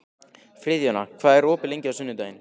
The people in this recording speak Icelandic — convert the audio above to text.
Friðjóna, hvað er opið lengi á sunnudaginn?